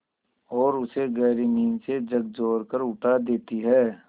और उसे गहरी नींद से झकझोर कर उठा देती हैं